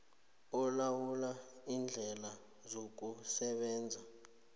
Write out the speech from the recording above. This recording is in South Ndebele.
olawula iindlela zokusebenza